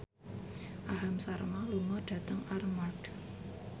Aham Sharma lunga dhateng Armargh